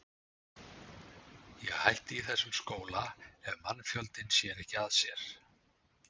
Ég hætti í þessum skóla ef mannfjandinn sér ekki að sér.